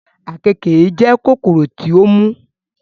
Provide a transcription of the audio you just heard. àkekèé ńjẹ kòkòrò tí ó mú